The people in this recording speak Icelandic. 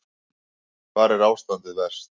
Hvar er ástandið verst?